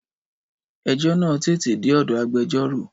Ẹjọ́ náà tètè dé ọ̀dọ̀ agbẹjọ́rò.